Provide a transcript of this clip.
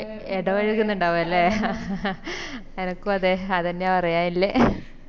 ഇടപഴകുന്നിണ്ടാവും അല്ലെ എനക്കും അതെ അതെന്നെയാ പറയാനില്ലെ